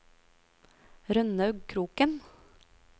Rønnaug Kroken